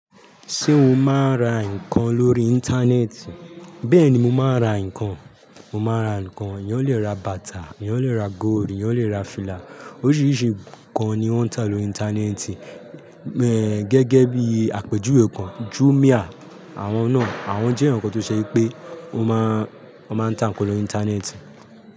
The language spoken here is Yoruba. Ṣé o máa ń ra nǹkan lórí Íńtánẹ́ẹ̀tì? Bẹ́ẹ̀ni mo máa ń ra nǹkan. Mo máa ra nǹkan, eyan lè ra bàtà, eyan lè ra góld, eyan lè ra fìlà. Oríṣìíríṣìí nnkan ni wọ́n ń tà lórí Íńtánẹ́ẹ̀tì. Ẹ̀ gẹ́gẹ́ bí àpèjúwe kan, Jumia, àwọn náà, àwọn jẹ́ nnkan tó ṣe pé o máa ń, a máa ń tà nnkan lórí Íńtánẹ́ẹ̀tì.